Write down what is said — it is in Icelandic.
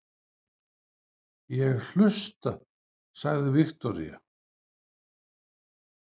Ég hlusta, sagði Viktoría.